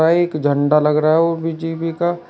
एक झण्डा लग रहा है ओ बी_जे_पी का।